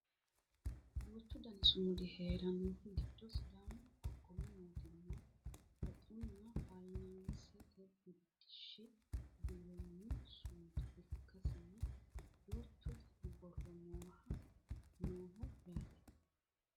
duuchu dani sumudi heerannohu giddo sidaamu qoqqowi mootimma woxunna fayiinsaansete biddishshi biiro mini sumuda ikkasinna duuchu dani borro nooho yaate